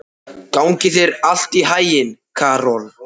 Gangi þér allt í haginn, Karol.